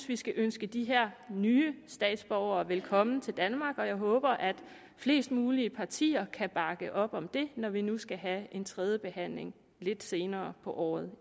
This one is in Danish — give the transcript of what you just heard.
vi skal ønske de her nye statsborgere velkommen til danmark og jeg håber at flest mulige partier kan bakke op om det når vi nu skal have en tredje behandling lidt senere på året